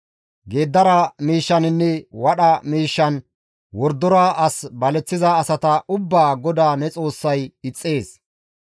Geeddara miishshaninne wadha miishshan wordora as baleththiza asata ubbaa GODAA ne Xoossay ixxees.